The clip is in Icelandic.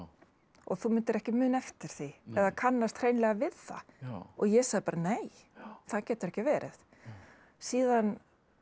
og þú myndir ekki muna eftir því eða kannast hreinlega við það og ég sagði bara nei það getur ekki verið síðan